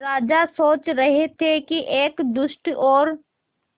राजा सोच रहे थे कि एक दुष्ट और